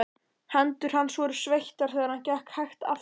Hendur hans voru sveittar þegar hann gekk hægt afturábak.